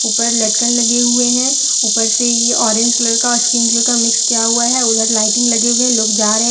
पर लटकन लगे हुए हैं ऊपर से ये ऑरेंज कलर का स्किन कलर का मिक्स किया हुआ है उधर लाइटिंग लगे हुए हैं लोग जा रहे हैं।